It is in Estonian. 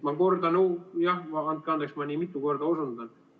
Ma kordan – jah, andke andeks, et ma nii mitu korda osundan!